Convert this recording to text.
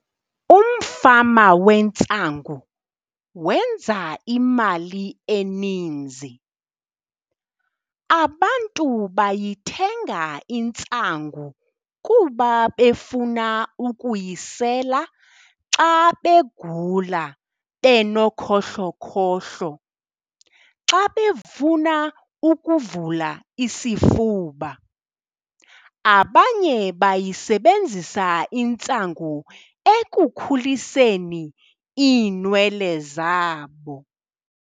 Umfama wentsangu wenza imali eninzi. Abantu bayithenga intsangu kuba befuna ukuyisela xa begula benokhohlokhohlo, xa befuna ukuvula isifuba. Abanye bayisebenzisa intsangu ekukhuliseni iinwele zabo.